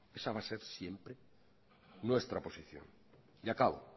esa va a ser siempre nuestra posición y acabo